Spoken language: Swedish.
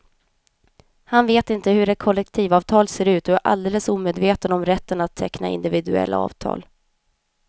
Han vet inte hur ett kollektivavtal ser ut och han är alldeles omedveten om rätten att teckna individuella avtal.